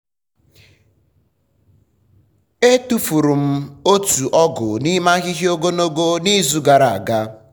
e tufuru m otu ọgụ n'ime ahịhịa ogologo n'izu gara aga.